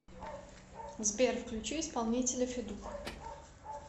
сбер включи исполнителя федук